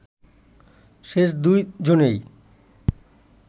শেষ দুই জনেই